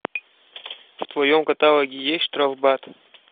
в твоем каталоге есть штрафбат